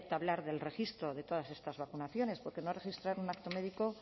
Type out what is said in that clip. hablar del registro de todas estas vacunaciones porque no registrar en un acto médico